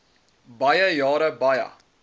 baie jare baie